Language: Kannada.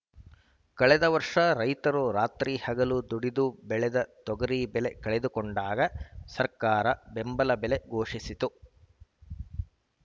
ಕಳೆದ ವರ್ಷ ರೈತರು ರಾತ್ರಿಹಗಲು ದುಡಿದು ಬೆಳೆದ ತೊಗರಿ ಬೆಲೆ ಕಳೆದುಕೊಂಡಾಗ ಸರ್ಕಾರ ಬೆಂಬಲ ಬೆಲೆ ಘೋಷಿಸಿತ್ತು